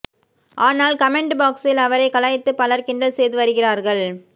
ஆனால் கமெண்ட் பாக்சில் அவரை கலாய்த்து பலர் கிண்டல் செய்து வருகிறார்கள்